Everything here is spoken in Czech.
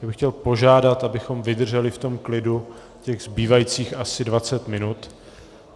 Já bych chtěl požádat, abychom vydrželi v tom klidu těch zbývajících asi 20 minut.